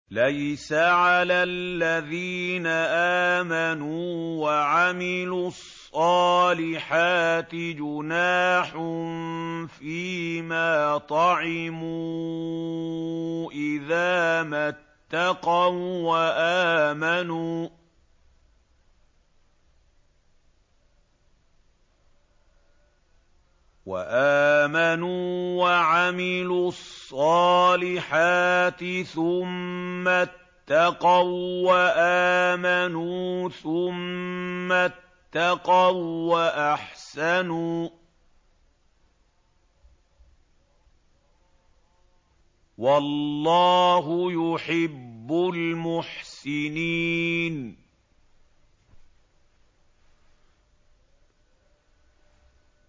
لَيْسَ عَلَى الَّذِينَ آمَنُوا وَعَمِلُوا الصَّالِحَاتِ جُنَاحٌ فِيمَا طَعِمُوا إِذَا مَا اتَّقَوا وَّآمَنُوا وَعَمِلُوا الصَّالِحَاتِ ثُمَّ اتَّقَوا وَّآمَنُوا ثُمَّ اتَّقَوا وَّأَحْسَنُوا ۗ وَاللَّهُ يُحِبُّ الْمُحْسِنِينَ